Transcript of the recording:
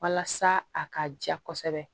Walasa a ka ja kosɛbɛ